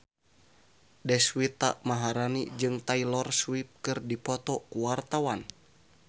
Deswita Maharani jeung Taylor Swift keur dipoto ku wartawan